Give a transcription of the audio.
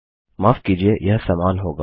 माफ कीजिए यह समान होगा